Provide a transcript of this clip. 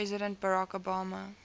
president barack obama